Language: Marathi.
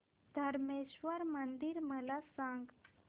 धरमेश्वर मंदिर मला सांग